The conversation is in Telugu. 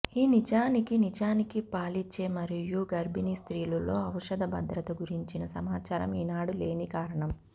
ఈ నిజానికి నిజానికి పాలిచ్చే మరియు గర్భిణీ స్త్రీలు లో ఔషధ భద్రత గురించిన సమాచారం ఈనాడు లేని కారణం